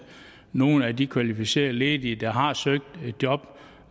nogle af de kvalificerede ledige der har søgt et job